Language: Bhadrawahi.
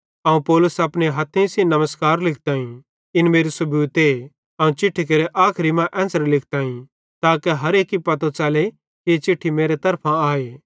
अवं पौलुस अपने हथ्थे सेइं नमस्कार लिखताईं इन मेरू सबूते अवं चिट्ठी केरे आखरी मां एन्च़रे लिखताईं ताके हर एक्की पतो च़ले कि ई चिट्ठी मेरे तरफां आए